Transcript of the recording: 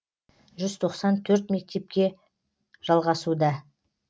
жүз тоқсан төрт мектепте жалғасуда